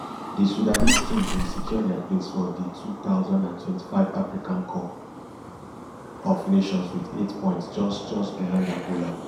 di sudanese team bin secure dia place for di two thousand and twenty-five africa cup of nations wit eight points just just behind angola